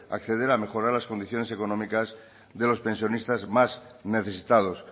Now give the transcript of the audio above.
acceder a mejorar las condiciones económicas de los pensionistas más necesitados